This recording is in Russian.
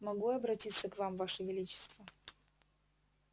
могу я обратиться к вам ваше величество